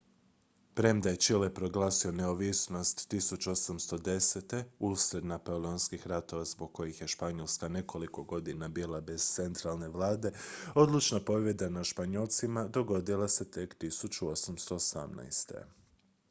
premda je čile proglasio neovisnost 1810. usred napoleonskih ratova zbog kojih je španjolska nekoliko godina bila bez centralne vlade odlučna pobjeda nad španjolcima dogodila se tek 1818